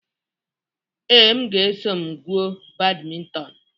Ee, m ga-eso m gwuo badminton.